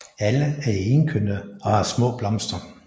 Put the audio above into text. Alle er enkønnede og har små blomster